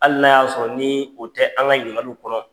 Hali n'a y'a sɔrɔ , ni o tɛ an ka ɲinikaliw kɔnɔ.